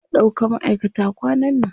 Za a ɗauka maʼaikata kwanan nan.